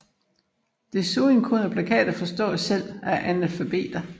Desuden kunne plakater forstås selv af analfabeter